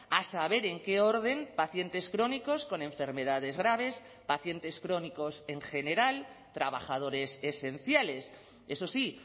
a saber en qué orden pacientes crónicos con enfermedades graves pacientes crónicos en general trabajadores esenciales eso sí